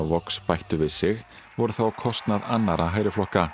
Vox bættu við sig voru þó á kostnað annarra